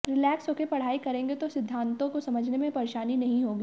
relax होकर पढ़ाई करेेंगे तो सिद्धांतों को समझने में परेशानी नहीं होगी